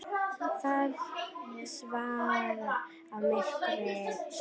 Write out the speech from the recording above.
Það svaf í myrkri sínu.